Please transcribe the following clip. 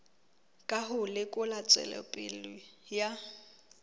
ka ho lekola tswelopele ya